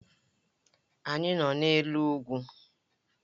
Anyị nọ n'elu ugwu